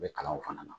U bɛ kalanw fana na